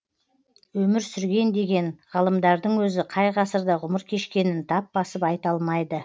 өмір сүрген деген ғалымдардың өзі қай ғасырда ғұмыр кешкенін тап басып айта алмайды